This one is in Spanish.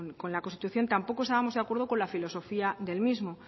con la constitución tampoco estábamos de acuerdo con la filosofía del mismo